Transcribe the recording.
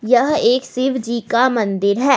यह एक शिवजी का मंदिर है।